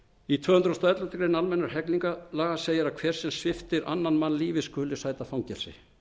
tvö hundruð og elleftu grein almennra hegningarlaga segir að hver sem sviptir annan mann lífi skuli sæta fangelsi